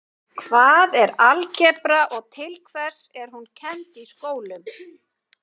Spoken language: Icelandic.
Hvað er algebra og til hvers er hún kennd í skólum?